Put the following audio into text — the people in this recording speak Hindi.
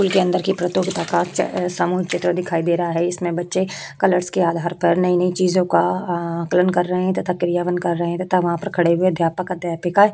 स्कूल के अंदर की प्रतियोगिता का सामूहिक चित्र दिखाई दे रहा है। इसमें बच्चे कलर्स के आधार पर नई-नई चीजों का आकलन कर रहे हैं तथा क्रिया वन कर रहे हैं तथा वहाँ पर खड़े हुए अध्यापक-अध्यापिकाएं--